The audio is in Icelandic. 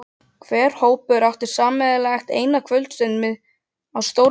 Hver hópur átti sameiginlega eina kvöldstund á stórum skemmtistað í